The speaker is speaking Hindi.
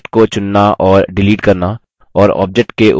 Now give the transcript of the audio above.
आपने object को चुनना और डिलीट करना